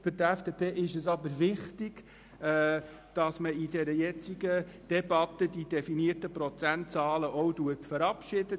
Für die FDP ist es jedoch wichtig, jetzt in der Debatte die definierten Prozentzahlen zu verabschieden.